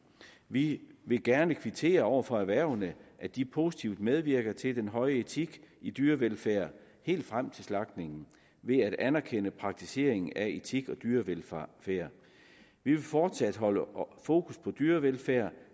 vi vil gerne kvittere over for erhvervene at de positivt medvirker til den høje etik i dyrevelfærd helt frem til slagtningen ved at anerkende praktiseringen af etik og dyrevelfærd vi vil fortsat holde fokus på dyrevelfærd